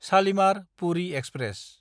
शालिमार–पुरि express